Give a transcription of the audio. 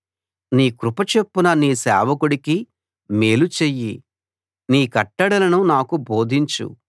నీ కృప చొప్పున నీ సేవకుడికి మేలు చెయ్యి నీ కట్టడలను నాకు బోధించు